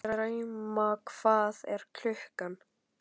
Drauma, hvað er klukkan?